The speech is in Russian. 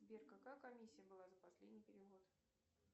сбер какая комиссия была за последний перевод